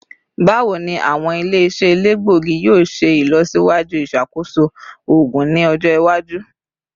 Bawo ni awọn ile-iṣẹ elegbogi yoo ṣe ilọsiwaju iṣakoso oogun ni ọjọ iwaju?